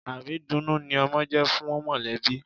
Àrídunnú ni ọmọ jẹ́ fún mọ̀lẹ́bí.